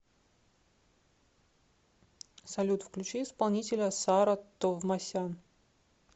салют включи исполнителя саро товмасян